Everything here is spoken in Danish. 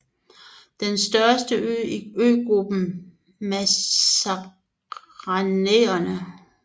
Det er den største ø i øgruppen Mascarenerne